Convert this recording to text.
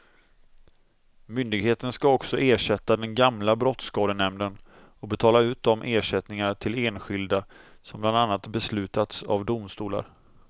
Myndigheten ska också ersätta den gamla brottsskadenämnden och betala ut de ersättningar till enskilda som bland annat beslutats av domstolar.